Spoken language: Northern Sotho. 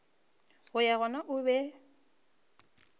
go ya gona o be